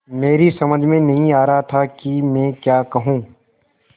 मेरी समझ में नहीं आ रहा था कि मैं क्या कहूँ